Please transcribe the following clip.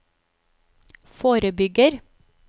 forebygger